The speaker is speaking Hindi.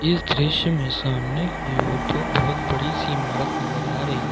इस दृश्य में सामने की ओर दो बहुत बड़ी सी इमारत नजर आ रही है।